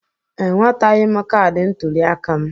Enwetaghị m kaadị ntụliaka m.